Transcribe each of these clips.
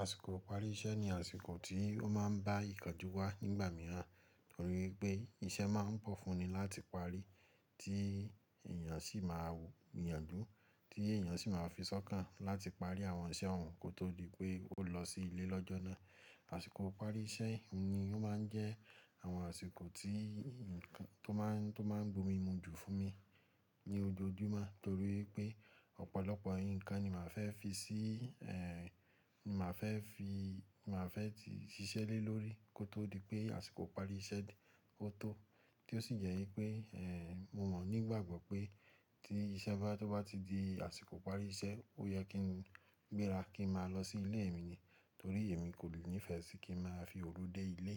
Àsìkò ìparí iṣẹ́ ni àsìkò tí ó máa ń bá ìkánjú wá nígbà mìíràn, torí pé iṣẹ́ máa ń pọ̀ fún ni láti parí tí èèyàn sì máa gbi yànjú tí èèyàn sì máa fisọ́kàn láti parí àwọn iṣẹ́ ohun kó tó di pé o lọ sí ilé lọ́jọ́ náà. Àsìkò ìparí iṣẹ́ ni ó máa ń jẹ́ àwọn àsìkò tó máa ń gbo mímu jù fún mi ní ojoojúmọ́ torí wipé ọ̀pọ̀lọpọ̀ nǹkan ni màá fẹ́ ti ṣiṣẹ́ lé lórí kó tó di pé àsìkò ìparí iṣẹ́ de kó tó, tí ó sì jẹ́ wi pé, mo o nígbàgbọ́ pé tí iṣtó bá ti di àsìkò ìparí iṣẹ́, ó yẹ kí n gbéra kí n máa lọ sí ilé mi ni, torí èmi kò le nífẹ̀ẹ́ sí kí n máa fi òru dé ilé.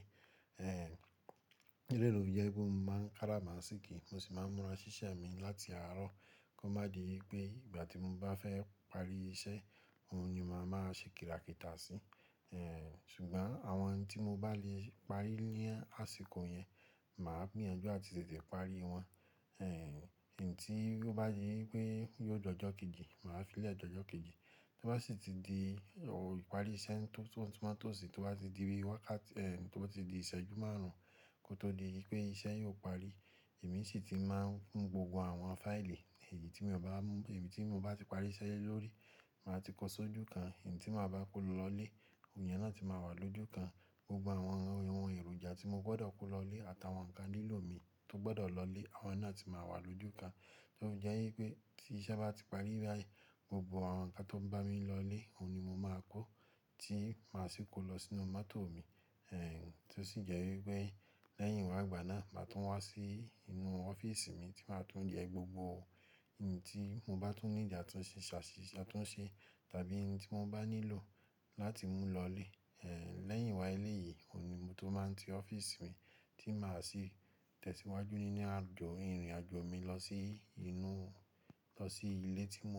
Eleyii lo fi jẹ wipe mo máa ń kara ma ṣíkí, mo sì máa ń múra ṣíṣe mi láti àárọ̀ kó má di wipé ìgbà tí mo bá fẹ́ parí iṣẹ́, ohun ni màá máa ṣe kìrákìtà sí. Ṣùgbọ́n àwọn tí mo bá lè parí ní àsìkò yẹn, màá gbìyànjú ati tètè parí wọn. Èyí tí ó bá di pé yóò dọjọ kejì, màá fi lẹ́ dọjọ kejì. Tó bá sì ti di iparí iṣẹ́ to ba ti di ìṣẹ́jú márùn-ún kó tó di wipé iṣẹ́ yóò parí, èmi sì ti máa ń mú gbogbo àwọn fáìlì, èyí tí mo bá ti parí iṣẹ́ le lórí, màá ti kó sójú kan. Èyí tí màá bá kó lọ ilé, iyẹn náà ti máa wà lójú kan. Gbogbo àwọn ìwọ̀n èròjà tí mo gbọ́dọ̀ kó lọ ilé àtàwọn nǹkan lílò mi tó gbọ́dọ̀ lọ ilé, àwọn náà ti máa wà lójú kan. Tofi jẹ́ wipé tí iṣẹ́ bá ti parí báyìí, gbogbo àwọn nǹkan tó bá mi lọ ilé, ohun ni mo máa kó tí màá sì kó lọ sínú mọ́tò mi. Tí ó sì jẹ́ wípé lẹ́yìn ìwà àgbà náà, màá tún wá sí inú ọ́fíísì mi tí màá tún yẹ gbogbo ohun tí mo bá tún need tàbí ohun tí mo bá nílò láti mú lọ ilé. Lẹ́yìn wá ilé yìí, ohun ni mo tó máa ti ọ́fíìsì mi tí màá sì tẹ̀síwájú nínú ìrìnàjò mi lọ sí ilé tí mò ń.